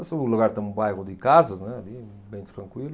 um lugar que tem um bairro de casas, né, ali bem tranquilo.